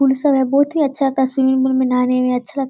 pool सब है बहुत ही अच्छा का स्विमिंग पुल में नहाने में अच्छा लग --